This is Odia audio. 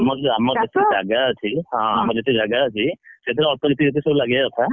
ଆମର ଯେତିକି ଜାଗା ଅଛି ସେଥିରେ ଅଳ୍ପ ଯେତିକି ସବୁ ଲାଗିବା କଥା